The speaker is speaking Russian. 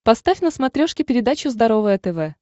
поставь на смотрешке передачу здоровое тв